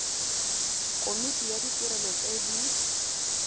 komiti ya ditirelo tse di